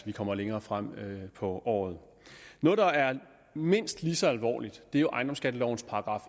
vi kommer længere frem på året noget der er mindst lige så alvorligt har ejendomsskattelovens §